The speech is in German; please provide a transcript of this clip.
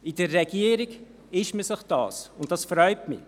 In der Regierung ist man sich das, und das freut mich.